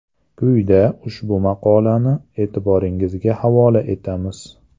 Quyida ushbu maqolani e’tiboringizga havola etamiz.